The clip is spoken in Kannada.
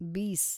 ಬೀಸ್